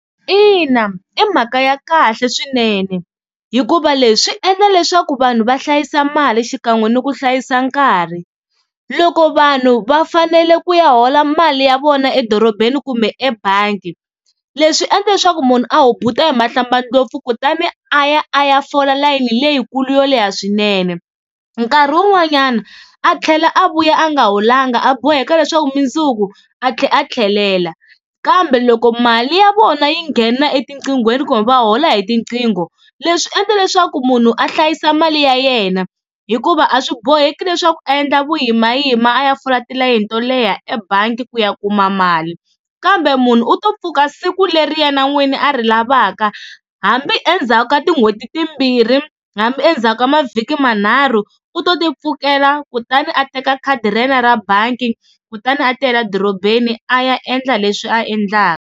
Ina i mhaka ya kahle swinene, hikuva leswi swi endla leswaku vanhu va hlayisa mali xikan'we ni ku hlayisa nkarhi. Loko vanhu va fanele ku ya hola mali ya vona edorobeni kumbe ebangi leswi swi endla leswaku munhu a hubuta hi mahlambandlopfu kutani a ya a ya fola layeni leyikulu yo leha swinene. Nkarhi wun'wanyana a tlhela a vuya a nga holanga a boheka leswaku mundzuku a tlhela a tlhelela. Kambe loko mali ya vona yi nghena etiqingweni kumbe va hola hi tiqingho leswi endla leswaku munhu a hlayisa mali ya yena, hikuva a swi boheki leswaku endla vuyimayima a ya fola tilayini to leha ebangi ku ya kuma mali. Kambe munhu u to pfuka siku leri yena n'wini a ri lavaka hambi endzhaku ka tin'hweti timbirhi hambi endzhaka mavhiki manharhu u to tipfukela kutani a teka khadi ra yena ra bangi kutani a tiyela dorobeni a ya endla leswi a endlaka.